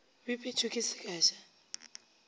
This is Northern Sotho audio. bipetšwe ke se ka ja